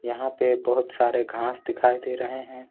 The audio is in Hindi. यहां पे बहुत सारे घास दिखाई दे रहे हैं।